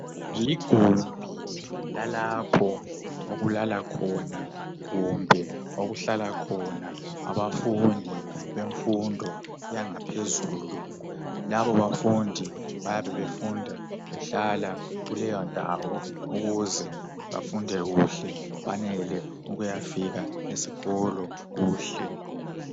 Ligumbi lalapho okulalwakho, kumbe okuhlalwa khona abafundi bemfundo yangaphezulu. Labo bafundi bayabe befunda behlala ukuze bafunde kuhle benele ukuyafika esikolo kuhle.